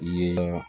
Ye